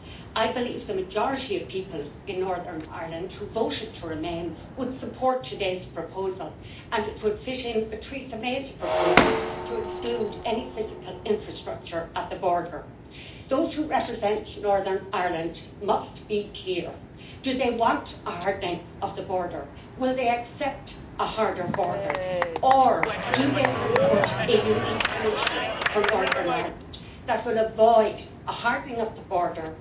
I believe the majority of people in Northern Ireland who voted to remain would support today's proposal, and it would fit in with Theresa May's proposal to exclude any physical infrastructure at the border. Those who represent Northern Ireland must be clear do they want a hardening of the border, will they accept a harder border, or do they support a unique solution for Northern Ireland that will avoid a hardening of the border,